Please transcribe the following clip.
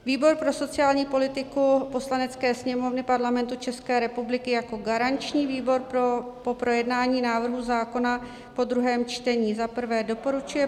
Výbor pro sociální politiku Poslanecké sněmovny Parlamentu České republiky jako garanční výbor po projednání návrhu zákona po druhém čtení za prvé doporučuje